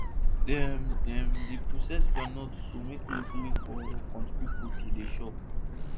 dem dem dey process groundnut to make kulikuli for country pipo to dey chop